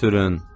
Götürün!